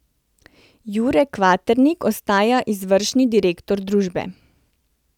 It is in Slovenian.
Jure Kvaternik ostaja izvršni direktor družbe.